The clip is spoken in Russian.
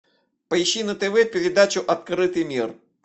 поищи на тв передачу открытый мир